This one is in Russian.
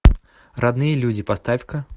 родные люди поставь ка